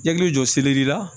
I hakili jɔ seleri la